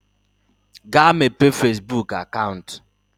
Gaa mepee fezbuk akant!